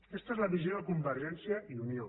aquesta és la visió de convergència i unió